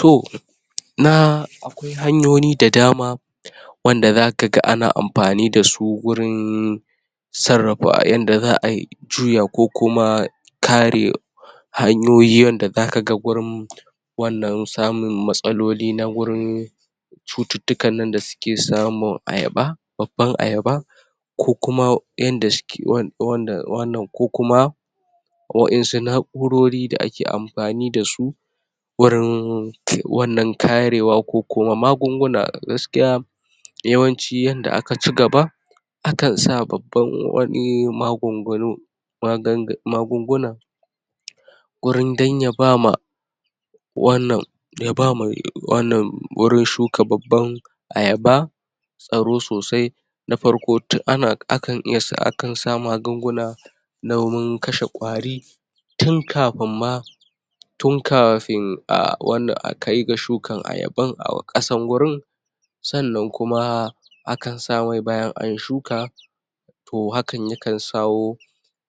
To na akwai hanyoyi da dama wanda zakaga ana amfani dasu gurin sarrafa, yanda za ai juya, ko kuma kare hanyoyi yanda zakaga gurin wannan samun matsaloli na wurin cututtukan nan da suke samun ayaba babban ayaba ko kuma yanda suke wan wan wannan, ko kuma waƴansu na'urori da ake amfani dasu wurin? wannan tarewa, ko kuma magunguna gaskiya yawanci yanda aka cigaba akan sa babban wani magungunu magan?magunguna gurin, dan ya bama wannan ya bama, wannan, wurin shuka babban ayaba tsaro sosai na farko, tun ana, akan iya s? akan sa magunguna domin kashe ƙwari tun kafin ma tun kafin,a wannan akai ga shukan ayaban a ƙasan wurin sannan kuma akan sa mai bayan an shuka to hakan yakan sawo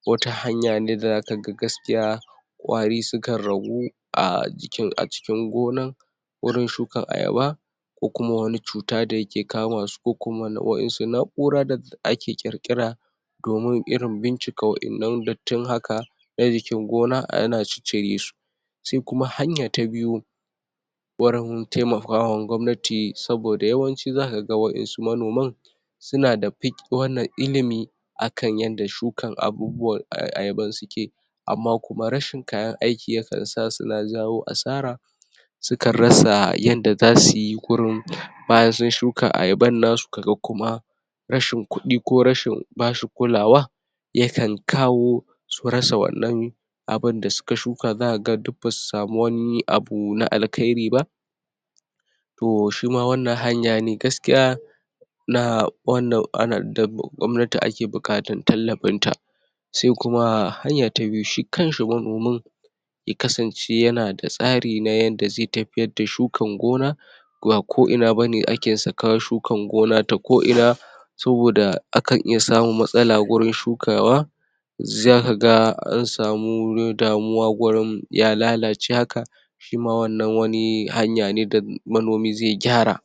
wata hanya ne da zakaga gaskiya ƙwari sukan ragu a jikin,a cikin gonan wurin shukan ayaba ko kuma wani cuta da yake kamasu, ko kuma nau?wasu na'ura da ake ƙirƙira domin irin bincika waƴannan dattin haka na jikin gona, ana ciccire su sai kuma hanya ta biyu wurin taimakawa gwamnati, saboda yawanci zakaga waƴansu manoman suna da fik, wannan ilimi akan yanda shukan abubuwan aya? ayaban suke amma kuma rashin kayan aiki yakan sa suna jawo asara sukan rasa yanda zasuyi kurun bayan sun shuka ayaban nasu kaga kuma rashin rashin kuɗi, ko rashin bashi kulawa yakan kawo su rasa wannan abinda suka shuka.zakaga duk basu samu wani abu na alkhairi ba to shima wannan hanya ne gaskiya na wannan ana da gwamnati ake buƙatar tallafin ta se kuma hanya ta biyu, shi kanshi manomin ya kasance yana da tsari na yanda zai tafiyar da shukan gona ba ko ina bane ake saka shukan gona ta ko ina saboda akan iya samun matsala gurin shukawa zakaga an samu damuwa gurin ya lalace haka shima wannan wani hanya ne da manomi zai gyara.